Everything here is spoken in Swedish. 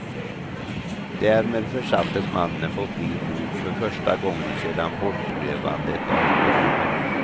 Därmed försattes mannen på fri fot för första gången sedan bortrövandet av barnet.